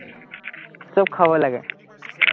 চব খাব লাগে,